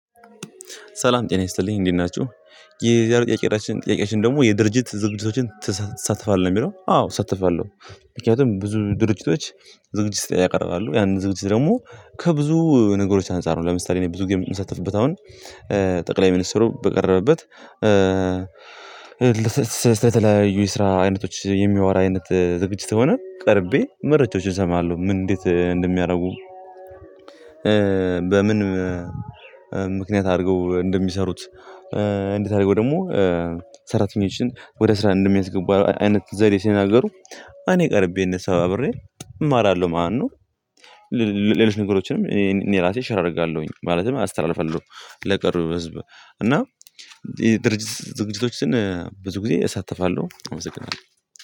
ሰላም ጤና ይስጥልኝ እንዴት ናችሁ? የዛሬው ጥያቄአችን፣ ጥያቄአችን ደግሞ የድርጅት ዝግጅቶችን ትሳተፋለህ ነው የሚለው። አዎ፣ እሳተፋለሁ ምክንያቱም ብዙ ድርጅቶች ዝግጅት ያቀርባሉ። ያንን ዝግጅት ደግሞ ከብዙ ነገሮች አንፃር ነው። ለምሳሌ ብዙ ጊዜ የምሳተፍበት አሁን ጠቅላይ ሚኒስትሩ በቀረበበት ስለተለያዩ ስራ አይነቶች የሚያወራ አይነት ዝግጅት ከሆነ ቀርቤ መረጃዎችን እሰማለሁ። ምን እንዴት እንደሚያደርጉ በምን ምክንያት አድርገው እንደሚሰሩት? እንዴት አድርገው ደግሞ ሰራተኞችን ወደ ስራ እንደሚያስገቡ አይነት ዘዴ ስናገሩ እኔ ቀርቤ እነሱ ጋር አብሬ እማራለሁ ማነው። ሌሎች ነገሮችንም እኔ ራሴ ሽር አደርጋለሁኝ። ማለትም አስተላልፋለሁ ለቀሩ ህዝብ። እና ድርጅት ዝግጅቶችን ብዙ ጊዜ እሳተፋለሁ። አመሰግናለሁ።